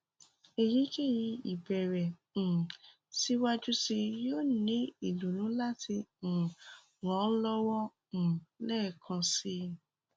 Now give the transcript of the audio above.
èyíkéyìí ìbẹ̀ẹ̀rẹ̀ um síwájú síi yóò ní ìdùnnú láti um ràn ọ́ lọ́wọ́ um lẹ́ẹ̀kan si